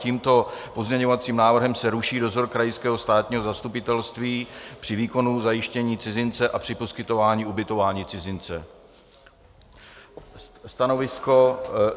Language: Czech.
Tímto pozměňovacím návrhem se ruší dozor krajského státního zastupitelství při výkonu zajištění cizince a při poskytování ubytování cizince.